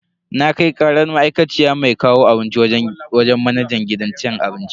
Na kai karar ma'aikaciyar mai kawo abinci wajen manajan gidan abincin.